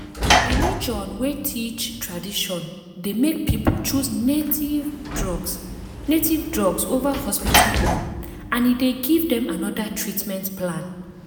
religion wey teach tradition dey make people choose native drugs native drugs over hospital own and e dey give them another treatment plan.